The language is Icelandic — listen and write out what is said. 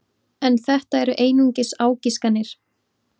En þetta eru einungis ágiskanir.